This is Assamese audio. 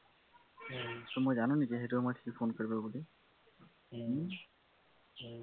মই জানো নেকি সেইটো সময়ত সি phone কৰিব বুুলি হম